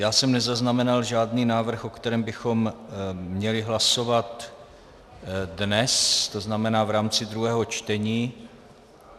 Já jsem nezaznamenal žádný návrh, o kterém bychom měli hlasovat dnes, to znamená v rámci druhého čtení.